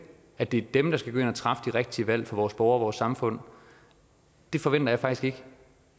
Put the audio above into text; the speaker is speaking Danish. at det er dem der skal gå ind og træffe de rigtige valg for vores borgere og vores samfund det forventer jeg faktisk ikke